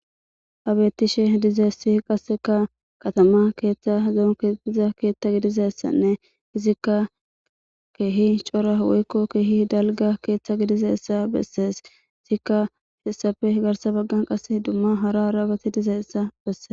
Habetishe dizassi qasseka qatama keeththa zoonkediza keeththa gidizassanne izikka keehi cora woykko keehi dalga keeththa gidizeessa bessees izikka hessafe higarsa baggan qass dumma hara raabati dizayessa besse